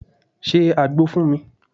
1. Se àgbò fún mi.